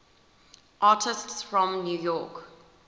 artists from new york